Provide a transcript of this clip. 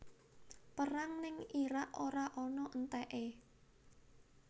Perang ning Irak ora ana enteke